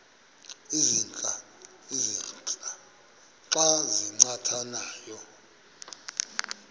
ezintia xa zincathamayo